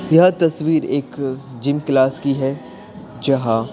यह तस्वीर एक जिम क्लास की है जहां --